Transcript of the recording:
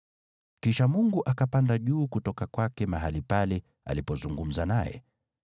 Kisha Mungu akapanda juu kutoka kwake mahali pale alipozungumza naye.